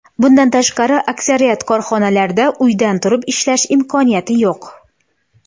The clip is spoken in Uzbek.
Bundan tashqari aksariyat korxonalarda uydan turib ishlash imkoniyati yo‘q.